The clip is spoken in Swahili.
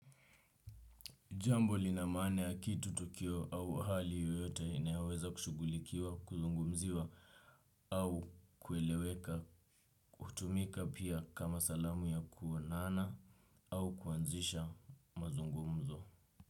Jambo lina maana ya kitu, tukio au hali yoyote inayoweza kushughulikiwa, kuzungumziwa au kueleweka, hutumika pia kama salamu ya kuonana au kuanzisha mazungumzo.